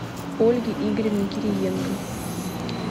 ольге игоревне кириенко